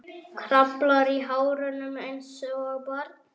Kraflar í hárunum einsog barn.